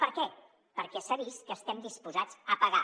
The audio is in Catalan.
per què perquè s’ha vist que estem disposats a pagar